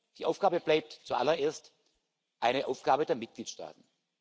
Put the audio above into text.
Die Aufgabe bleibt zuallererst eine Aufgabe der Mitgliedstaaten.